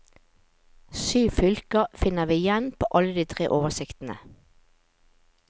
Syv fylker finner vi igjen på alle de tre oversiktene.